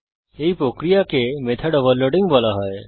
এই প্রক্রিয়াকে method overloading বলা হয়